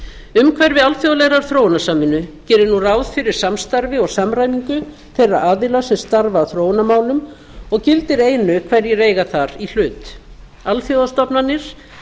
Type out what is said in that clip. umhverfi alþjóðlegrar þróunarsamvinnu gerir nú ráð fyrir samstarfi og samræmingu þeirra aðila sem starfa að þróunarmálum og gildir einu hverjir eiga þar í hlut alþjóðastofnanir